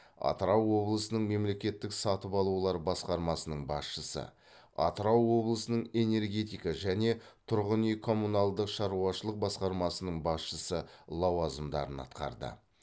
атырау облысының мемлекеттік сатып алулар басқармасының басшысы атырау облысының энергетика және тұрғын үй коммуналдық шаруашылық басқармасының басшысы лауазымдарын атқарды